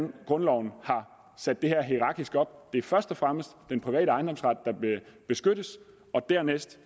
grundloven har sat det her hierarkisk op det først og fremmest er den private ejendomsret der beskyttes og dernæst